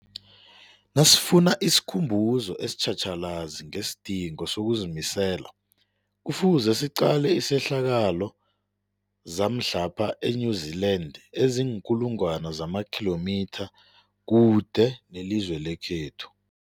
Nasifuna isikhumbuzo esitjhatjhalazi ngesidingo sokuzimisela, Kufuze siqale izehlakalo zamhlapha e-New Zealand eziinkulu ngwana zamakhilomitha kude nelizwe lekhethu.